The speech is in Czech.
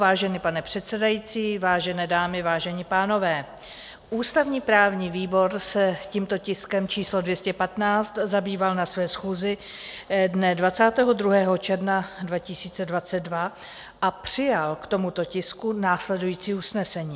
Vážený pane předsedající, vážené dámy, vážení pánové, ústavně-právní výbor se tímto tiskem číslo 215 zabýval na své schůzi dne 22. června 2022 a přijal k tomuto tisku následující usnesení: